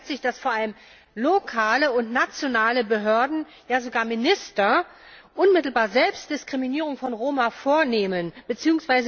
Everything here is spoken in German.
Darin zeigt sich, dass vor allem lokale und nationale Behörden ja sogar Minister unmittelbar selbst Diskriminierung von Roma vornehmen bzw.